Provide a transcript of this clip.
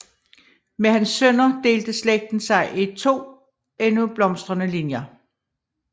Med hans sønner delte slægten sig i to endnu blomstrende linjer